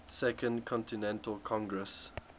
second continental congress